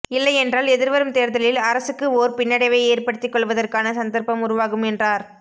இல்லையென்றால் எதிர்வரும் தேர்தலில் அரசுக்கு ஒர் பின்னடைவை ஏற்படுத்தி கொள்வதற்கான சந்தர்ப்பம் உருவாகும் என்றார்